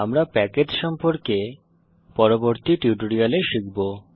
আমরা প্যাকেজ সম্পর্কে পরবর্তী টিউটোরিয়ালে শিখব